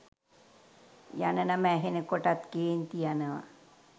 යන නම ඇහෙන කොටත් කේන්ති යනවා.